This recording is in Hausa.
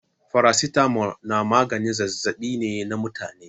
Faracitamol na maganin zazzaɓi ne na mutane.